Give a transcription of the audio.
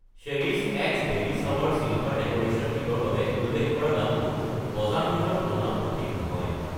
Cherish X baby shower silver decoration kit ৰ বাবে উল্লেখ কৰা দামটো বজাৰ মূল্যৰ তুলনাত সঠিক নহয়।